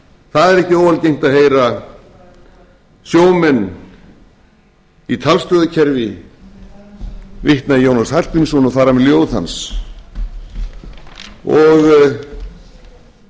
það er ekki óalgengt að heyra sjómenn í talstöðvarkerfi vitna í jónas hallgrímsson og fara með ljóð hans og